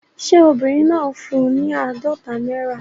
Ṣé obìnrin náà fún un ní àádọ́ta náírà?